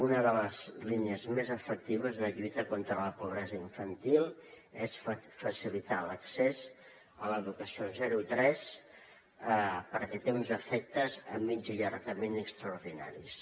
una de les línies més efectives de lluita contra la pobresa infantil és facilitar l’accés a l’educació de zero tres perquè té uns efectes a mitjà i llarg termini extraordinaris